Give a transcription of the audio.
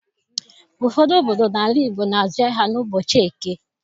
Ụfọdụ obodo n'ala Igbo na-azụ ahịa n'ụbọchị Eke.